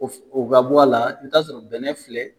O ka bɔ a la i bi taa sɔrɔ bɛnɛ filɛ